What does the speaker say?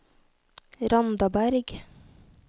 Randaberg